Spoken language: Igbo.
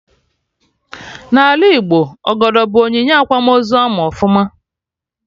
N'ala Igbo, Ọgọdọ bụ onyinye akwamozu ama ọfụma